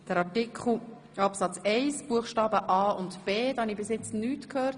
Rückweisungsantrag SVP, Freudiger)